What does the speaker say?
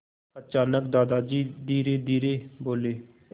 अचानक दादाजी धीरेधीरे बोले